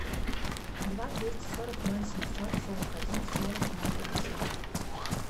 два двести сорок ноль семьсот сорок один сорок ноль пятьдесят